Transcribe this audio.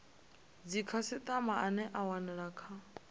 dzikhasitama ane a wanala kha